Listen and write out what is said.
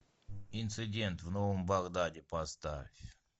инцидент в новом багдаде поставь